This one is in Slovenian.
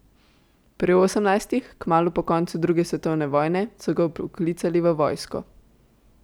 Pri osemnajstih, kmalu po koncu druge svetovne vojne, so ga vpoklicali v vojsko.